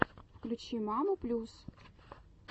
включи маму плюс